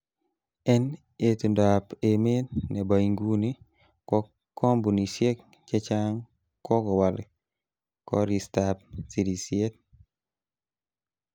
En itondab emet nebo inguni, ko kompunisiek chechang kokowal koristab sirisiet.